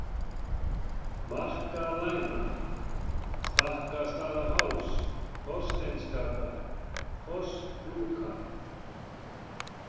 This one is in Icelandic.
Markalæna, Stakkastaðaháls, Þorsteinsgata, Fossklúka